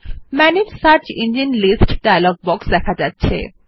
manage search engines list dialog box দেখা যাচ্ছে